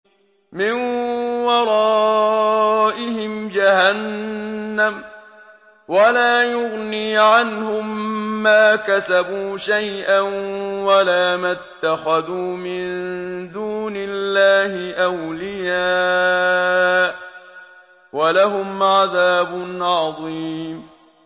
مِّن وَرَائِهِمْ جَهَنَّمُ ۖ وَلَا يُغْنِي عَنْهُم مَّا كَسَبُوا شَيْئًا وَلَا مَا اتَّخَذُوا مِن دُونِ اللَّهِ أَوْلِيَاءَ ۖ وَلَهُمْ عَذَابٌ عَظِيمٌ